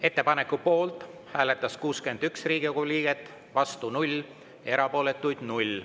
Ettepaneku poolt hääletas 61 Riigikogu liiget, vastu 0, erapooletuid 0.